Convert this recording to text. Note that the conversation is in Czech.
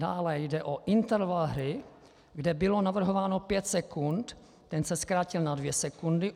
Dále jde o interval hry, kde bylo navrhováno pět sekund, ten se zkrátil na dvě sekundy.